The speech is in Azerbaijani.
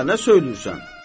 Gədə, nə söyləyirsən?